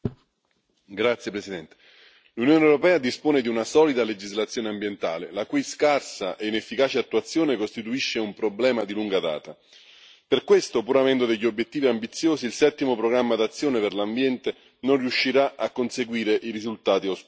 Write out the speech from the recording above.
Signora Presidente, onorevoli colleghi, l'Unione europea dispone di una solida legislazione ambientale la cui scarsa e inefficace attuazione costituisce un problema di lunga data. Per questo, pur avendo degli obiettivi ambiziosi, il Settimo programma d'azione per l'ambiente non riuscirà a conseguire i risultati auspicati.